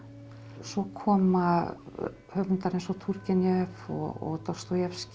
svo koma höfundar eins og Túrgenjev og